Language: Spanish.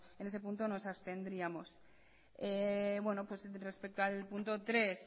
en ese punto nos abstendríamos respecto al punto tres